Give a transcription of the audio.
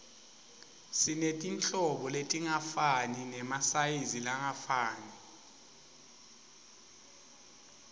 sinetinhlobo letingafani nemasayizi langafani